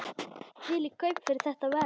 Þvílík kaup fyrir þetta verð!